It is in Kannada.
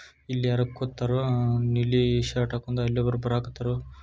ಇಲ್ ಯಾರೊ ಕುತ್ತರೋ ಅಹ್ ನೀಲಿ ಶರ್ಟ್ ಹಾಕೊಂದ್ ಅಲ್ಲಿ ಒಬ್ಬರು ಬರಾಕತ್ತರೋ.